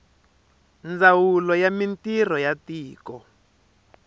ndzawulo ya mintirho ya tiko